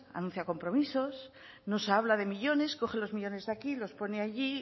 anuncia compromisos nos habla de millónes coge los millónes de aquí y los pone allí